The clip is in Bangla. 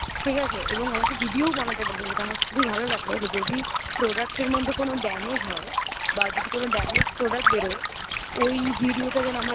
ঠিক আছে এবং আমাকেvideo বানাতে বলেছে যেটা আমার খুবই ভালো লাগলো যে যদি product র মধ্যে কোনো damage হয় যদি কোন damage product বেরোয় ওই video টা যেন